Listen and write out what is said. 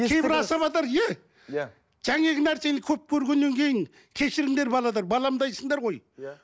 кейбір асабалар нәрсені көп көргеннен кейін кешіріңдер балалар баламдайсыңдар ғой иә